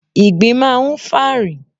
Ìgbín máa ń fà rìn.